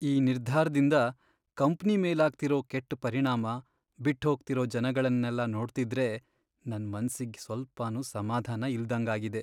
ಈ ನಿರ್ಧಾರ್ದಿಂದ ಕಂಪ್ನಿ ಮೇಲಾಗ್ತಿರೋ ಕೆಟ್ಟ್ ಪರಿಣಾಮ, ಬಿಟ್ಹೋಗ್ತಿರೋ ಜನಗಳ್ನೆಲ್ಲ ನೋಡ್ತಿದ್ರೆ ನನ್ ಮನ್ಸಿಗ್ ಸ್ವಲ್ಪನೂ ಸಮಾಧಾನ ಇಲ್ದಂಗಾಗಿದೆ.